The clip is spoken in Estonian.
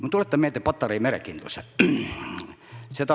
Ma tuletan meelde Patarei merekindlust.